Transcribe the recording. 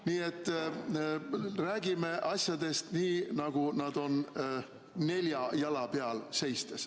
Nii et räägime asjadest nii, nagu nad on, nelja jala peal seistes.